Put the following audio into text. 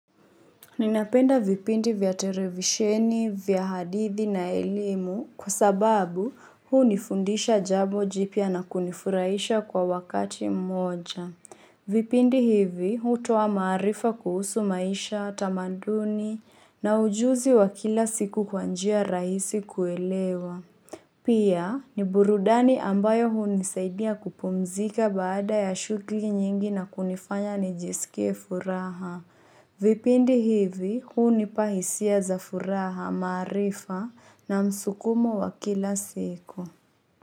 Ninapenda vipindi vya televisheni, vya hadithi na elimu kwa sababu, hunifundisha jambo jipya na kunifurahisha kwa wakati mmoja. Vipindi hivi hutowa maarifa kuhusu maisha, tamaduni na ujuzi wa kila siku kwa njia rahisi kuelewa. Pia ni burudani ambayo hunisaidia kupumzika baada ya shuguli nyingi na kunifanya nijisikie furaha. Vipindi hivi hunipa hisia za furaha maarifa na msukumo wa kila siku.